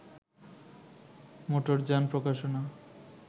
মোটরযান প্রকাশনা